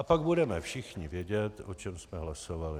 A pak budeme všichni vědět, o čem jsme hlasovali.